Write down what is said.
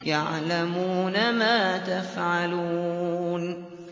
يَعْلَمُونَ مَا تَفْعَلُونَ